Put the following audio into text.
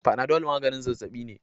Panadol maganin zazzabi ne.